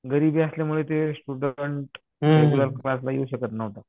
गरिबी असल्यामुळे ते स्टुडन्ट रेग्युलर क्लासला येऊ शकत नव्हता.